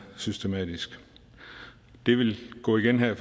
systematisk det vil gå igen her